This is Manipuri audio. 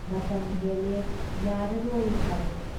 ꯃꯇꯝ ꯍꯦꯜꯂꯦ ꯌꯥꯔꯔꯣꯏ ꯍꯥꯏꯔꯦ ꯫